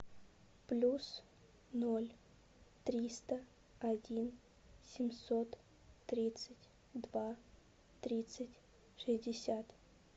плюс ноль триста один семьсот тридцать два тридцать шестьдесят